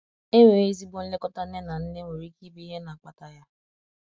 enweghi ezigbo nlekọta nne na nne nwer ike ibụ ihe na akpata ya.